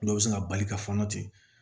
Dɔw bɛ se ka bali ka fɔnɔ ten